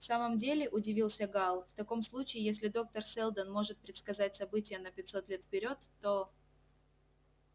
в самом деле удивился гаал в таком случае если доктор сэлдон может предсказать события на пятьсот лет вперёд то